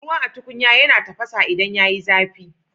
Ruwa a tukunya yana tafasa idan yayi zafi